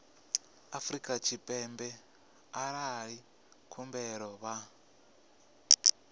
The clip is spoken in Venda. afrika tshipembe arali khumbelo vha